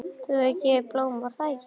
Þú hefur gefið henni blóm, var það ekki?